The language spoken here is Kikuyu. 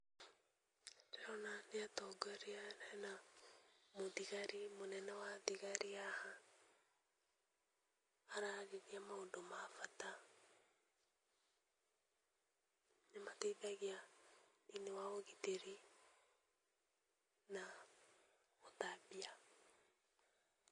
Ndĩrona nĩ atongoria hena mũthigari, mũnene wa thigari haha, ararĩrĩria maũndũ ma bata, nĩmateithagia thĩ-inĩ wa ũgitĩri, na ũtambia.